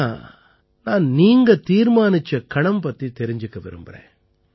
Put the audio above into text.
ஆனா நான் நீங்க தீர்மானிச்ச கணம் பத்தி தெரிஞ்சுக்க விரும்பறேன்